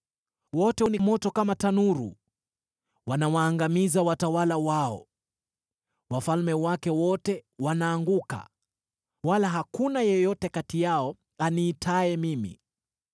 Wote ni moto kama tanuru; wanawaangamiza watawala wao. Wafalme wake wote wanaanguka, wala hakuna yeyote kati yao aniitaye mimi.